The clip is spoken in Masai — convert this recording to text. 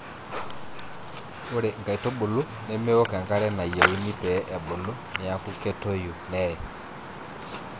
ore inkaitubul nemeok enkare nayieuni pee ebulu neeku ketoyu nee